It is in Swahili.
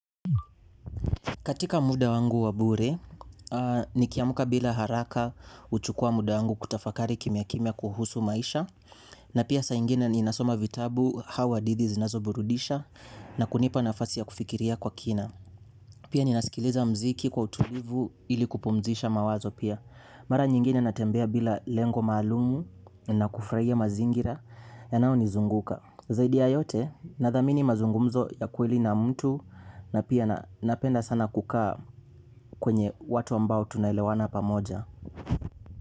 Katika muda wangu wa bure, ni kiamka bila haraka huchukua muda wangu kutafakari kimya kimya kuhusu maisha. Na pia saa ingine ninasoma vitabu au hadithi zinazoburudisha na kunipa nafasi ya kufikiria kwa kina. Pia ninasikiliza muziki kwa utulivu ili kupumzisha mawazo pia. Mara nyingine natembea bila lengo maalumu na kufurahia mazingira yanaonizunguka. Zaidi ya yote nadhamini mazungumzo ya kweli na mtu na pia napenda sana kukaa kwenye watu ambao tunarlewana pamoja.